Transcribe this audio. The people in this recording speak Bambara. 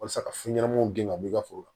Walasa ka fɛn ɲɛnamaw gɛn ka bɔ i ka foro la